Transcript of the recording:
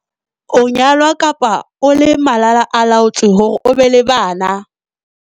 o nyalwa kapa o le malala-a-laotswe hore o be le bana.